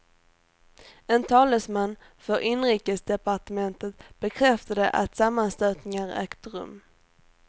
En talesman för inrikesdepartementet bekräftade att sammanstötningar ägt rum.